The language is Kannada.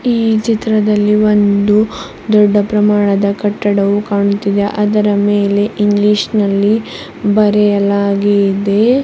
ಈ ಚಿತ್ರದಲ್ಲಿ ಒಂದು ದೊಡ್ಡ ಪ್ರಮಾಣದ ಕಟ್ಟಡವು ಕಾಣುತ್ತಿದೆ ಅದರ ಮೇಲೆ ಇಂಗ್ಲಿಷ್ ನಲ್ಲಿ ಬರೆಯಲಾಗಿದೆ.